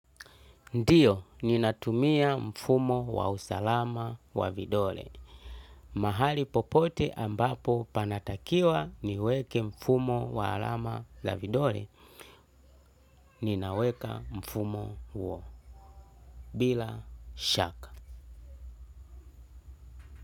Ndiyo, ninatumia mfumo wa usalama wa vidole. Mahali popote ambapo panatakiwa niweke mfumo wa alama la vidole, ninaweka mfumo huo. Bila shaka.